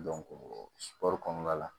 kɔnɔna la